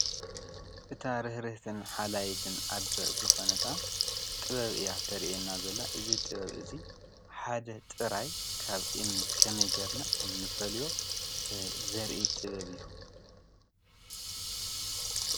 እታ ርህርህትን ሓላይትን ኣዶ ዝኮነት ጥበብ እያ ተርእየና ዘላ። እዙይ ጥበብ እዚ ጥበብ ሓደ ጥራይ ካብ እምኒ ከመይ ገይርና ከምንፈልዮ ዘርኢ ጥበብ እዩ።